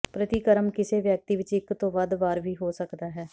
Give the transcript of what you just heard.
ਪ੍ਰਤੀਕਰਮ ਕਿਸੇ ਵਿਅਕਤੀ ਵਿੱਚ ਇਕ ਤੋਂ ਵੱਧ ਵਾਰ ਵੀ ਹੋ ਸਕਦਾ ਹੈ